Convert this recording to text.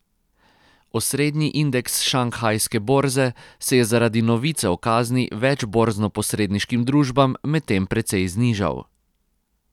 Osrednji indeks šanghajske borze se je zaradi novice o kazni več borznoposredniškim družbam medtem precej znižal.